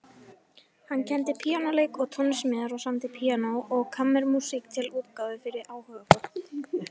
Hann kenndi píanóleik og tónsmíðar og samdi píanó- og kammermúsík til útgáfu fyrir áhugafólk.